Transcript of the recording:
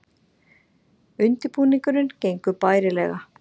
Undirbúningurinn gengur bærilega